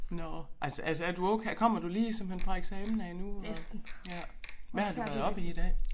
Nåh altså altså er du okay kommer du lige simpelthen fra eksamen af nu og ja hvad har du været oppe i i dag